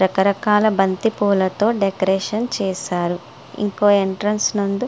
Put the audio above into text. రకరకాల బంతి పువ్వులతో డెకరేషన్ చేశారు. ఇంకో ఎంట్రెన్స్ నందు--